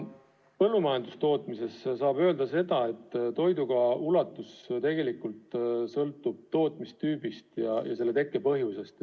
Põllumajandustootmises saab öelda seda, et toidukao ulatus sõltub tegelikult tootmistüübist ja kao tekke põhjusest.